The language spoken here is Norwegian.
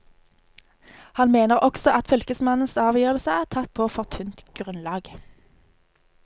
Han mener også at fylkesmannens avgjørelse er tatt på for tynt grunnlag.